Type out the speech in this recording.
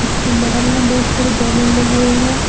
उसकी बाहर में बहुत सारे बैलून लगे हुए हैं।